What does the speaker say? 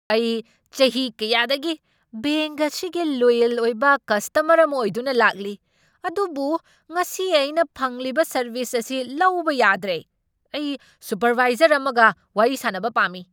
ꯑꯩ ꯆꯍꯤ ꯀꯌꯥꯗꯒꯤ ꯕꯦꯡꯛ ꯑꯁꯤꯒꯤ ꯂꯣꯌꯦꯜ ꯑꯣꯏꯕ ꯀꯁꯇꯃꯔ ꯑꯃ ꯑꯣꯏꯗꯨꯅ ꯂꯥꯛꯂꯤ, ꯑꯗꯨꯕꯨ ꯉꯁꯤ ꯑꯩꯅ ꯐꯪꯂꯤꯕ ꯁꯔꯕꯤꯁ ꯑꯁꯤ ꯂꯧꯕ ꯌꯥꯗ꯭ꯔꯦ꯫ ꯑꯩ ꯁꯨꯄꯔꯚꯥꯏꯖꯔ ꯑꯃꯒ ꯋꯥꯔꯤ ꯁꯥꯟꯅꯕ ꯄꯥꯝꯃꯤ!